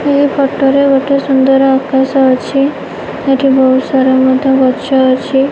ଏହି ଫଟ ରେ ଗୋଟେ ସୁନ୍ଦର ଆକାଶ ଅଛି ଏଠି ବହୁତ ସାରା ମଧ୍ୟ୍ୟ ଗଛ ଅଛି।